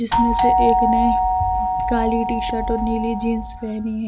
जिसमें से एक ने काली टी शर्ट और नीली जींस पहनी है।